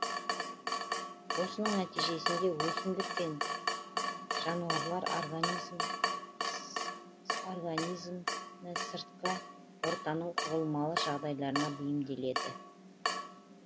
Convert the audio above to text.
осының нәтижесінде өсімдік пен жануарлар организмі сыртқы ортаның құбылмалы жағдайларына бейімделеді